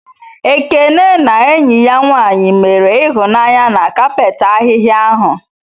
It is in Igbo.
Ekene na enyi ya nwanyị mere ịhụnanya na kapet ahịhia ahụ.